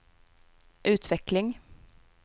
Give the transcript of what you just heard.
utveckling